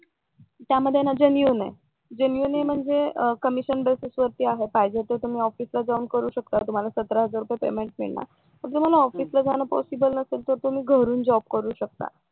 त्यामध्ये ना जेनियनआहे जेनियनम्हणजे कमिशन बेसिस वर आहे पाहिजे तर तुम्ही ऑफिसला जाऊन करू शकता तुम्हाला सत्र हजार रुपये पेमेंट मिळणार आणि जर तुम्हाला ऑफिसला जायला पॉसिबल नसेल तर तुम्ही घरून जॉब करू शकता